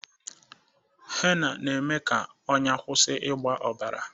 Henna na-eme ka ọnya kwusi ịgba obara